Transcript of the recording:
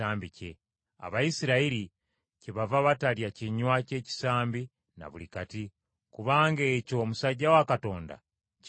Abayisirayiri kyebava batalya kinywa ky’ekisambi na buli kati, kubanga ekyo omusajja wa Katonda kye yakomako.